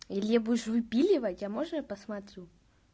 илье будешь выпиливать а можно я посмотрю